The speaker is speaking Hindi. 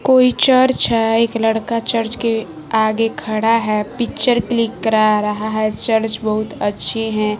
कोई चर्च है एक लड़का चर्च के आगे खड़ा है पिक्चर क्लिक करा रहा है चर्च बहुत अच्छी हैं।